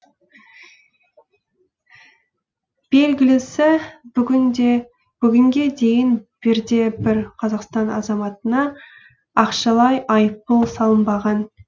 белгілісі бүгінге дейін бірде бір қазақстан азаматына ақшалай айыппұл салынбаған